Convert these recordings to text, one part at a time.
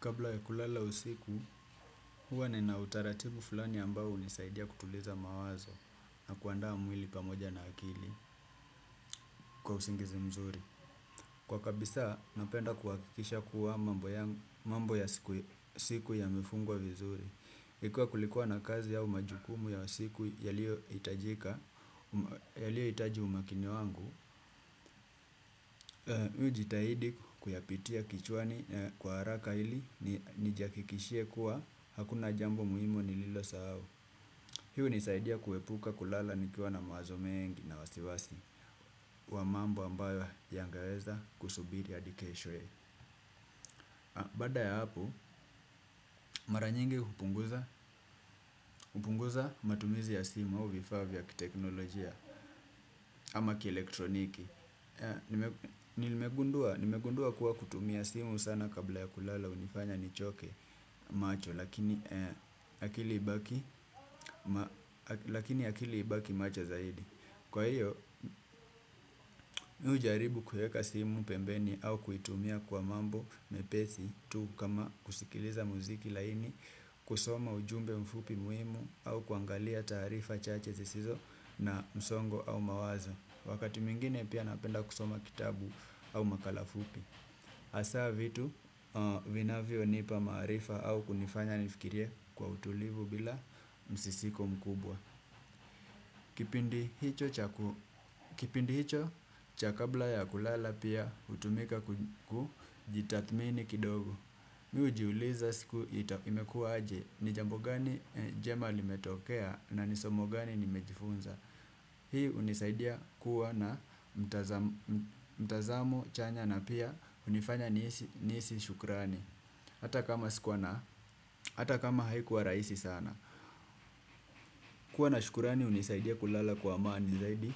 Kabla ya kulala usiku, huwa ninautaratibu fulani ambao hunisaidia kutuliza mawazo na kuandaa mwili pamoja na akili. Kwa usingizi mzuri. Kwa kabisa, napenda kuhakikisha kuwa mambo ya siku yamefungwa vizuri. Ikua kulikua na kazi au majukumu ya siku yaliyoitajika, yaliyoitaji umakini wangu, miu jitahidi kuyapitia kichwani kwa haraka ili, nijihakikishie kua, hakuna jambo muhimu nililo sahau. Hii unisaidia kuepuka kulala nikiwa na mawazo mengi na wasiwasi. Wa mambo ambayo yangeweza kusubiri adi keshwe. Baada ya hapo, mara nyingi hupunguza matumizi ya simu au vifaa vya kiteknolojia ama kielektroniki. Nimegundua kuwa kutumia simu sana kabla ya kulala hunifanya nichoke, macho. Lakini lakini akili ibaki macho zaidi. Kwa hiyo, mimi ujaribu kuweka simu pembeni au kuitumia kwa mambo mepesi, tu, kama, kusikiliza muziki laini, kusoma ujumbe mfupi muhimu au kuangalia taarifa chache zisizo na msongo au mawazo. Wakati mwingine pia napenda kusoma kitabu au makala fupi. Hasa vitu, vinavyonipa maarifa au kunifanya nifikirie kwa utulivu bila msisiko mkubwa. Kipindi hicho cha kabla ya kulala pia, hutumika kujitathmini kidogo. Mi hujiuliza siku imekua aje? Ni jambo gani njema limetokea? Na ni somo gani nimejifunza? Hii hunisaidia kuwa na mtazamu chanya na pia hunifanya nihisi shukrani. Hata kama sikua na hata kama haikuwa raisi sana. Kuwa na shukurani hunisaidia kulala kwa amani zaidi.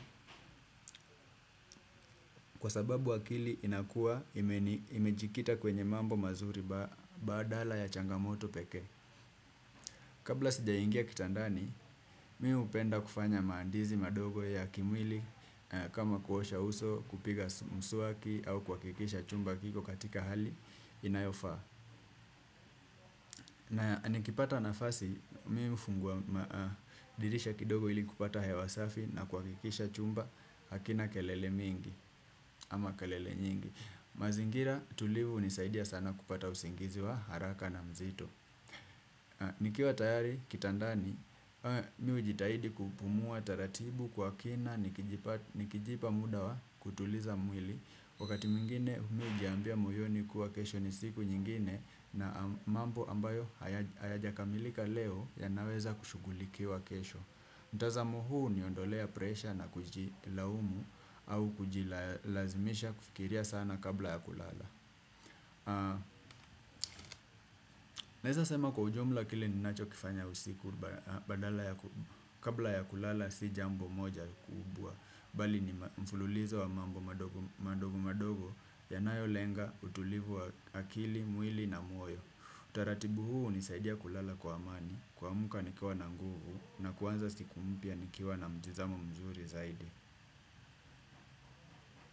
Kwa sababu akili inakua imejikita kwenye mambo mazuri. Badala ya changamoto pekee. Kabla sijaingia kitandani, mi hupenda kufanya maandizi madogo ya kimwili. Kama kuosha uso, kupiga mswaki au kuhakikisha chumba kiko katika hali inayofaa. Na nikipata nafasi, mi hufungua dirisha kidogo ili kupata hewa safi na kuwakikisha chumba hakina kelele mingi. Ama kelele nyingi. Mazingira tulivu hunisaidia sana kupata usingizi wa haraka na mzito. Nikiwa tayari kitandani, mi hujitahidi kupumua taratibu kwa kina. Nikijipa muda wa, kutuliza mwili, wakati mwingine mi hujiambia moyoni kuwa kesho ni siku nyingine na mambo ambayo hayajakamilika leo, yanaweza kushughulikiwa kesho. Mtazamu huu huniondolea presha na kujilaumu au kujilazimisha kufikiria sana kabla ya kulala. Naeza sema kwa ujumla kile ninachokifanya usiku badala ya kabla ya kulala si jambo moja kubwa. Bali ni mfululizo wa mambo madogo madogo, yanayo lenga utulivu wa akili, mwili na moyo. Taratibu huu hunisaidia kulala kwa amani, kuamka nikiwa na nguvu na kuanza siku mpya nikiwa na mtizamo mzuri zaidi.